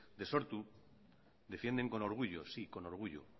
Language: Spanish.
de sortu defienden con orgullo sí con orgullo